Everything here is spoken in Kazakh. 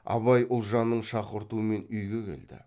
абай ұлжанның шақыртуымен үйге келді